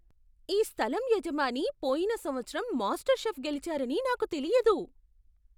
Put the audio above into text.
ఈ స్థలం యజమాని పోయిన సంవత్సరం మాస్టర్ షెఫ్ గెలిచారని నాకు తెలియదు!